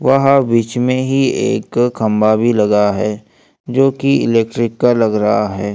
वहां बीच में ही एक खंभा भी लगा है जो कि इलेक्ट्रिक का लग रहा है।